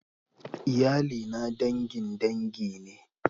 Iyalina dangin dangi ne.